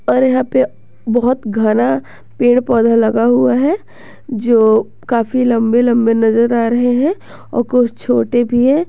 और यहां पे बहुत घना पेड़ पौधा लगा हुआ है जो काफी लंबे लंबे नजर आ रहे हैं और कुछ छोटे भी हैं।